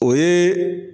O ye